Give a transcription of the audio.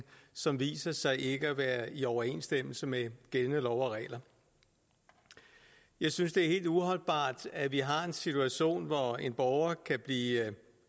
som viser sig ikke at være i overensstemmelse med gældende love og regler jeg synes det er helt uholdbart at vi har en situation hvor en borger kan blive